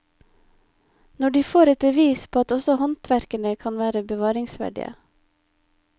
Nå får de et bevis på at også håndverkere kan være bevaringsverdige.